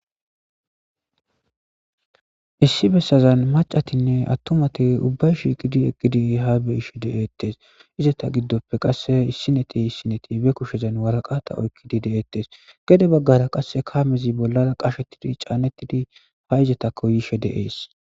Issi bessazan macatinne attomati ubbay shiqidi eqqidi ha be ishe de7ettes izata giddoppe qasse issineti issineti be kushezan waraqata oykkidi de'ettes gede baggara qasse kaamezi bollara qashettidi caanettidi ha izatako yishe deees.